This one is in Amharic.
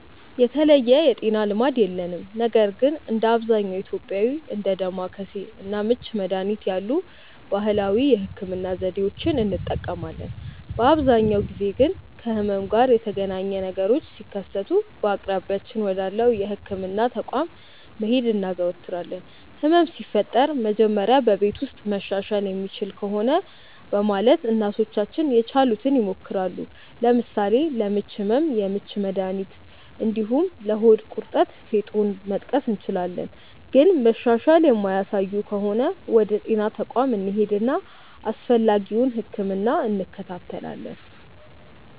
የተለየ የጤና ልማድ የለንም ነገር ግን እንደ አብዛኛው ኢትዮጵያዊ እንደ ዳማከሴ እና ምች መድሀኒት ያሉ ባህላዊ የህክምና ዘዴዎችን እንጠቀማለን። በአብዛኛው ጊዜ ግን ከህመም ጋር የተገናኘ ነገሮች ሲከሰቱ በአቅራቢያችን ወዳለው የህክምና ተቋም መሄድ እናዘወትራለን። ህመም ሲፈጠር መጀመሪያ በቤት ውስጥ መሻሻል የሚችል ከሆነ በማለት እናቶቻችን የቻሉትን ይሞክራሉ። ለምሳሌ ለምች ህመም የምች መድሀኒት እንዲሁም ለሆድ ቁርጠት ፌጦን መጥቀስ እንችላለን። ግን መሻሻል የማያሳዩ ከሆነ ወደ ጤና ተቋም እንሄድና አስፈላጊውን ህክምና እንከታተላለን።